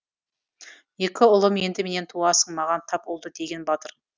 екі ұлым енді менен туасың маған тап ұлды деген батыр